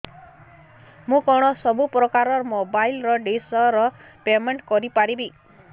ମୁ କଣ ସବୁ ପ୍ରକାର ର ମୋବାଇଲ୍ ଡିସ୍ ର ପେମେଣ୍ଟ କରି ପାରିବି